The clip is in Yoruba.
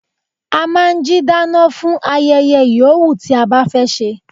A máa ń jí dáná fún ayẹyẹ yòówù tí a bá fẹ́ ṣe.